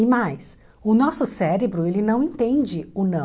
E mais, o nosso cérebro ele não entende o não.